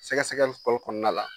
Sɛgɛsɛgɛli fɔlɔ kɔnɔna la.